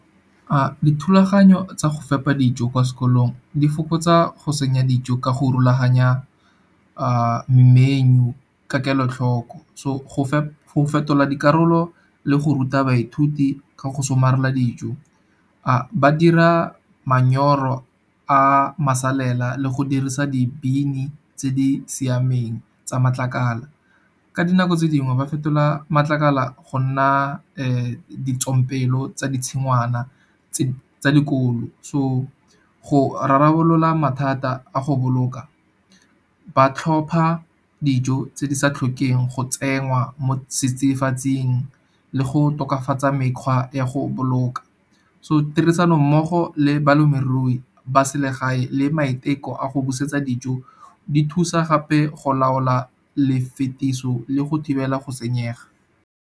Dithulaganyo tsa go fepa dijo kwa sekolong di fokotsa go senya dijo ka go rulaganya menu ka kelotlhoko. So go fetola dikarolo le go ruta baithuti ka go somarela dijo ba dira manyoro a masalela le go dirisa di-bin-i tse di siameng tsa matlakala. Ka dinako tse dingwe ba fetola matlakala go nna ditsompelo tsa ditshingwana tsa dikolo. So go rarabolola mathata a go boloka ba tlhopa dijo tse di sa tlhokeng go tsengwa mo setsidifatsing, le go tokafatsa mekgwa ya go boloka, so tirisanommogo le balemirui ba selegae le maiteko a go busetsa dijo, di thusa gape go laola lefitiso le go thibela go senyega.